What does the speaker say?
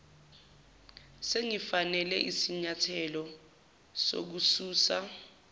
singafanele isinyathelo sokususa